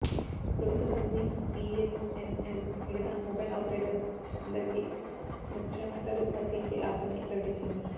ప్రభుత్వ company BSNL మిగితా mobile operators అందరికి ముచ్చెమటలు పట్టించే ఆఫర్ ని ప్రకటించింది